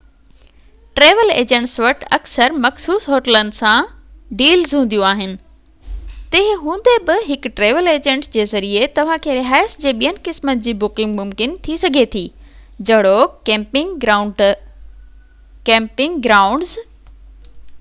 travel ايجنٽن وٽ اڪثر مخصوص هوٽلن سان ڊيلز هونديون آهن تنهن هوندي بہ هڪ ٽريول ايجنٽ جي ذريعي توهان کي رهائش جي ٻين قسمن جي بڪنگ ممڪن ٿي سگهي ٿي جهڙوڪ ڪيمپنگ گرائونڊز